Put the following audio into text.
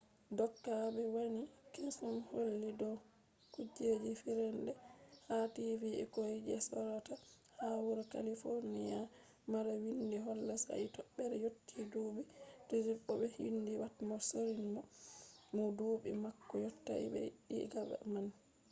doka ɓe waɗi kesum holli dow kujeji fijerde ha tv ɓikkoi sje ɓe sorata ha wuro kalifoniya mara windi holla sai toɓe yotti duuɓi 18 bo ɓe windi pat mo sorrini mo duuɓi mako yottai ɓe jaɓan $1000 diga mako